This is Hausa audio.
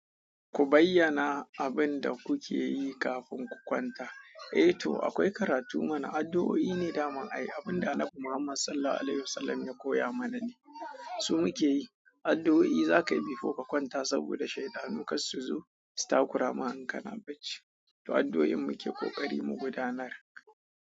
Ku bayyana abin da kuke yi kafin ku kwanta. Eh to, akwai karatu mana, addu'o'i ne daman ayi. Abin da Annabi Muhammad Sallallahu Alaihi Wasallam ya koya mana ne. Shi muke yi. Addu'o'i za ka yi before ka kwanta saboda shaiɗanu kar su zo su takura ma in kana bacci. To addu'oin muke kokari mu gudanar.